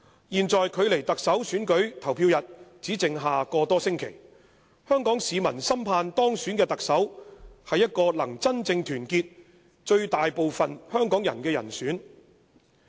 "現在距離特首選舉投票日只剩下個多星期，香港市民深盼當選的特首是一個能真正團結最大部分香港人的人選。